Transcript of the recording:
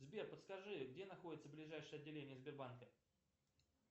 сбер подскажи где находится ближайшее отделение сбербанка